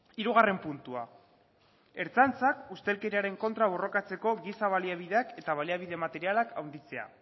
hirugarren puntua ertzaintzak ustelkeriaren kontra borrokatzeko giza baliabideak eta baliabide materialak handitzea